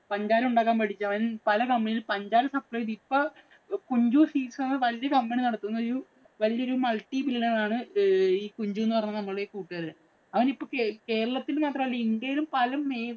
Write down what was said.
പഞ്ചാര ഉണ്ടാക്കാന്‍ പഠിച്ചു അവന്‍. പല company ഇകളില്‍ പഞ്ചാര supply ചെയ്ത് ഇപ്പൊ കുഞ്ചു വല്യ company നടത്തുന്ന ഒരു വല്യ ഒരു multi billionaire ആണ് ഈ കുഞ്ചു എന്ന് പറയുന്ന നമ്മടെ ഈ കൂട്ടുകാരന്‍. അവന്‍ ഇപ്പോ കേരളത്തില്‍ മാത്രമല്ല ഇന്ത്യയിലും പല